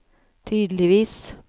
tydeligvis